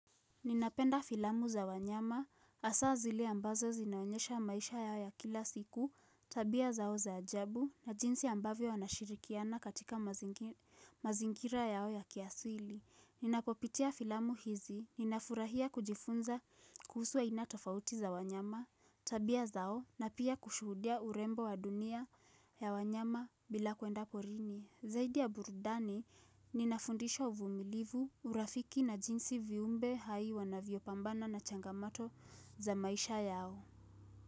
Ninapenda filamu za wanyama, hasa zile ambazo zinaonyesha maisha yao ya kila siku, tabia zao za ajabu, na jinsi ambavyo wanashirikiana katika mazingira yao ya kiasili. Ninapopitia filamu hizi, ninafurahia kujifunza kuhusu aina tofauti za wanyama, tabia zao, na pia kushuhudia urembo wa dunia ya wanyama bila kuenda porini. Zaidi ya burudani, ninafundishwa uvumilivu, urafiki na jinsi viumbe hai wanavyopambana na changamato za maisha yao.